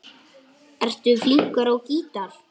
Ertu flinkur á gítar?